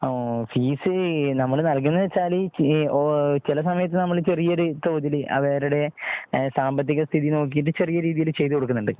Fees നമ്മൾ നൽകുന്നത് എന്ന് വച്ചാല്. ഈ ഓ ചില സമയത്ത് നമ്മൾ ചെറിയൊരു തോതിൽ അവരുടെ.